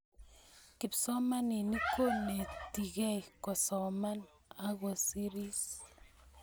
kipsomaninik konetikei kosoman akoseris